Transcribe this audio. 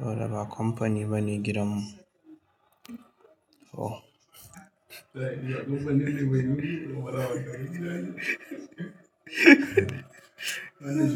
Dolaba kamfani bane gidanmu. Oh.